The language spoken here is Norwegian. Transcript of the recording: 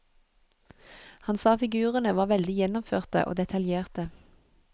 Han sa figurene var veldig gjennomførte og detaljerte.